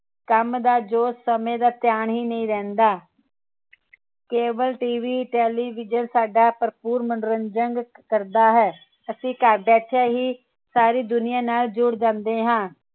ਕੰਮ ਦਾ ਜੋ ਸਮੇ ਦਾ ਧਿਆਨ ਹੀ ਨਹੀਂ ਰਹਿੰਦਾ cableTVtelevision ਸਾਡਾ ਭਰਪੂਰ ਮਨੋਰੰਜਨ ਕਰਦਾ ਹੈ ਅਸੀਂ ਘਰ ਬੈਠੇ ਹੀ ਸਾਰੀ ਦੁਨੀਆਂ ਨਾਲ ਜੁੜ ਜਾਂਦੇ ਹਾਂ